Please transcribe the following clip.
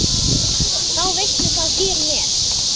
Þá veistu það hér með.